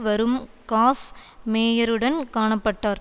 வரும் காஸ் மேயருடன் காண பட்டார்